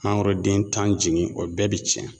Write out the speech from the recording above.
Mangoroden tan jigin o bɛɛ bi cɛn